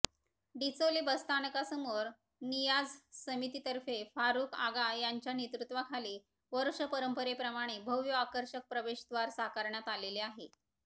डिचोली बसस्थानकासमोर नियाझ समितीतर्फे फारूक आगा यांच्या नेतृत्वाखाली वर्षपरंपरेप्रमाणे भव्य आकर्षक प्रवेशद्वार साकारण्यात आलेले आहे